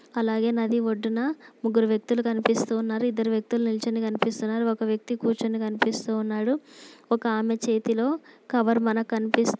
అలాగే నది ఒడ్డున ముగ్గురు వ్యక్తులు కనిపిస్తూ ఉన్నారు. ఇద్దరు వ్యక్తులు నిల్చొని కనిపిస్తున్నారు.. ఒక వ్యక్తి కూర్చుని కనిపిస్తూ ఉన్నాడు. ఒక ఆమె చేతిలో కవర్ మనకు కనిపిస్తు--